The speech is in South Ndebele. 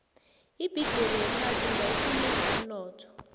ibhigiri yephasi ingawuqinisa umnotho